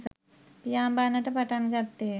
පියාඹන්නට පටන්ගත්තේය.